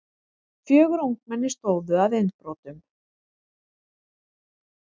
Fjögur ungmenni stóðu að innbrotum